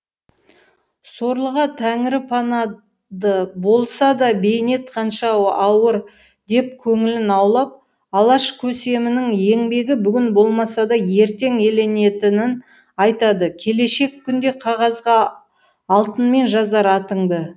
сорлыға тәңірі пана ды болса да бейнет қаншау ауыр деп көңілін аулап алаш көсемінің еңбегі бүгін болмаса да ертең еленетінін айтады келешек күнде қағазғаалтынмен жазар атыңды